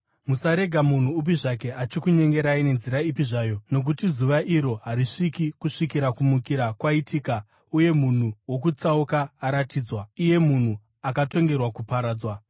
Musarega munhu upi zvake achikunyengerai nenzira ipi zvayo, nokuti zuva iro harisviki kusvikira kumukira kwaitika uye munhu wokutsauka aratidzwa, iye munhu akatongerwa kuparadzwa.